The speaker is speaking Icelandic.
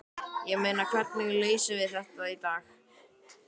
Ég meina, hvernig leysum við þetta í dag?